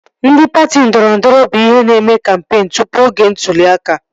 Ndị patị ndọrọndọrọ bụ ihe na-eme kampeen tụpụ oge ntụli aka